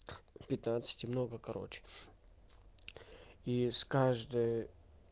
пятнадцать много короче и с каждой